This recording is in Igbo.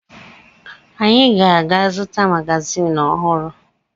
Anyị ga-aga zụta magazin ọhụrụ